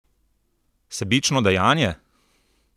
Sebično dejanje?